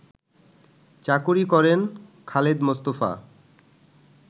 চাকুরী করেন খালেদ মোস্তফা